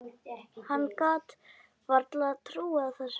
Hann gat varla trúað þessu.